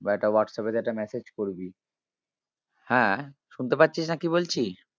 বা একটা হোয়াটসঅ্যাপে যেয়ে একটা message করবি হ্যাঁ শুনতে পাচ্ছিস না কি বলছি?